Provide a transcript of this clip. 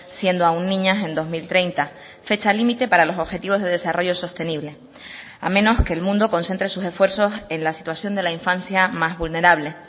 siendo aun niñas en dos mil treinta fecha límite para los objetivos de desarrollo sostenible a menos que el mundo concentre sus esfuerzos en la situación de la infancia más vulnerable